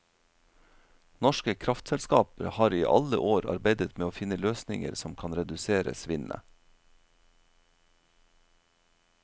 Norske kraftselskaper har i alle år arbeidet med å finne løsninger som kan redusere svinnet.